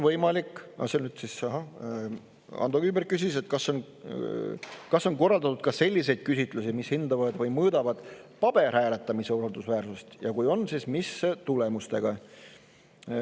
Ando Kiviberg küsis, kas on korraldatud ka selliseid küsitlusi, mis hindavad või mõõdavad paberhääletamise usaldusväärsust, ja kui on, siis mis tulemustega.